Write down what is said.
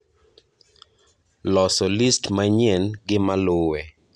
loso list manyien gi maluwe